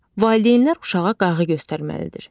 Valideynlər uşağa qayğı göstərməlidir.